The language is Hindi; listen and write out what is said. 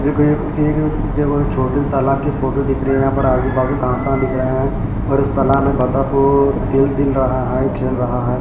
छोटे से तालाब की फोटो दिख रही है यहां पर आज बाजू का दिख रहे हैं और इस तालाब में बता को तिल तिल रहा है खेल रहा है।